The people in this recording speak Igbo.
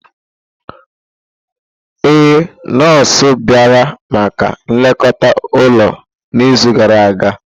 Ee, nọọsụ bịara maka nlekọta ụlọ n'izu gara aga.